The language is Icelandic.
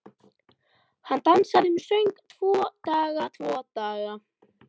Hann dansaði um og söng: Tvo daga, tvo daga